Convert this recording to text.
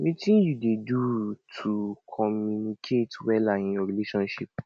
wetin you dey do to communicate wella in your relationships